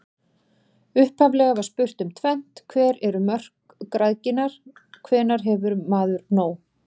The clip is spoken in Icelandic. Upphaflega var spurt um tvennt: Hver eru mörk græðginnar, hvenær hefur maður nóg?